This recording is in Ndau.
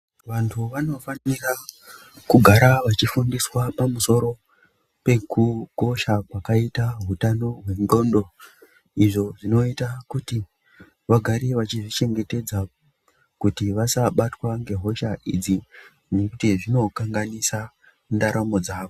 Vanthu vanofanira kugara vachifundiswa pamusoro pekukosha kwakaita utano hwendxondo. Izvo zvinoita kuti vagare vachizvichengetedza kuti vasabatawa ngehocha idzi ngekuti zvinokanganisa ndaramo dzavo.